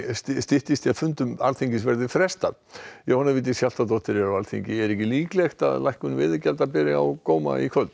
styttist í að fundum Alþingis verði frestað Jóhanna Vigdís Hjaltadóttir er á Alþingi það er ekki ólíklegt að lækkun veiðigjalda beri á góma í kvöld